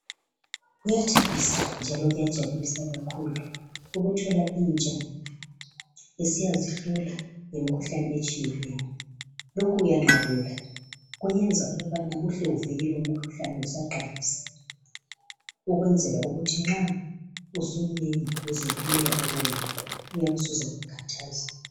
Kuyathabisa njalo kuyajabulisa kakhulu ukuthola intsha isiyazihlola ngemkhuhlane etshiyeneyo. Lokhu kuyanqabela, kuyenza ukubana uhle uvikele umkhuhlane usaqalisa, ukwenzela ukuthi nxa usumnengi uzehluleka ukuwulapha, uyabe usuzakukhathaza.